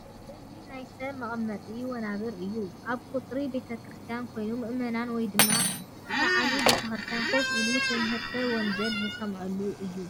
እዚ ናይ ሰባት መቐመጢ ወናብር እዩ፡ ኣብ ቐፅሪ ቤቴክርስትያን ኮይኑ ምእመን ወይ ድማ ሰዓሚ ቤክርስትያን ከፍ ኢሉ ትምህርተ ወንጀል ዝሰምዓሉ እዩ ።